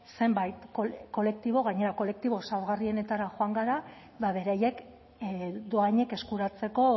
zenbait kolektibo gainera kolektibo zaurgarrienetara joan gara beraiek dohainik eskuratzeko